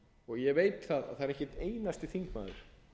og ég veit að það er ekki ein einasti þingmaður